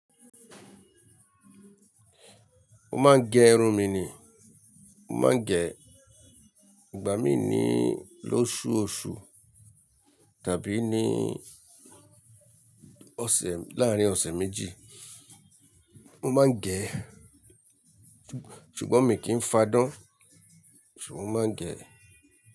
Mo máa ń gẹ irun mi ni. Mo máa ń gẹ, ìgbà mí ní lóṣù-òṣù tàbí ní ọ̀sẹ̀, láàárín ọ̀sẹ̀ méjì. Mo máa ń gẹ, ṣùgbọ́n mi kì í fádán, ṣùgbọ́n mo máa ń gẹ.